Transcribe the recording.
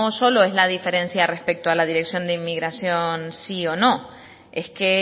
solo es la diferencia respecto a la dirección de emigración sí o no es que